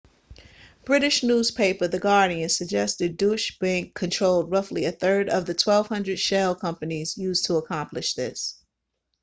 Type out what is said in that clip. british newspaper the guardian suggested deutsche bank controlled roughly a third of the 1200 shell companies used to accomplish this